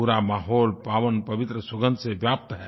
पूरा माहौल पावन पवित्र सुगंध से व्याप्त है